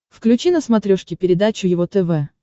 включи на смотрешке передачу его тв